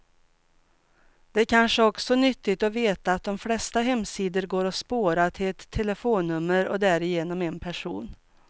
Det är kanske också nyttigt att veta att de flesta hemsidor går att spåra, till ett telefonnummer och därigenom en person.